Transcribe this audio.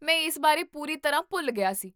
ਮੈਂ ਇਸ ਬਾਰੇ ਪੂਰੀ ਤਰ੍ਹਾਂ ਭੁੱਲ ਗਿਆ ਸੀ